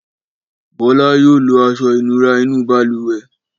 Bọ́lá yóò lo aṣọ-ìnura inú balùwẹ̀.